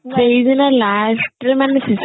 ସେଇଦିନ last ରେ ମାନେ ଶେଷ